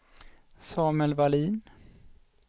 Samuel Vallin